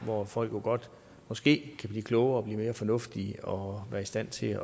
og hvor folk måske kan blive klogere og blive mere fornuftige og være i stand til